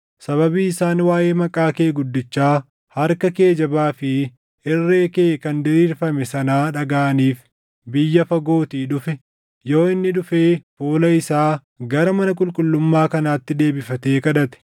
sababii isaan waaʼee maqaa kee guddichaa, harka kee jabaa fi irree kee kan diriirfame sanaa dhagaʼaniif biyya fagootii dhufe, yoo inni dhufee fuula isaa gara mana qulqullummaa kanaatti deebifatee kadhate,